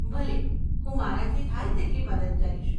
ભલે, હું મારાથી થાય તેટલી મદદ કરીશ.